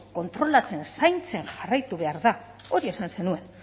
kontrolatzen zaintzen jarraitu behar da hori esan zenuen